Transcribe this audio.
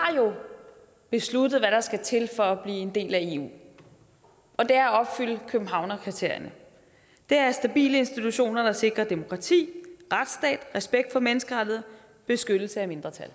besluttet hvad der skal til for at blive en del af eu og det er at opfylde københavnerkriterierne det er stabile institutioner der sikrer demokrati retsstat respekt for menneskerettigheder og beskyttelse af mindretal